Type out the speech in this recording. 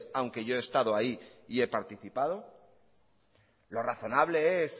aunque yo he estado ahí y he participado lo razonable es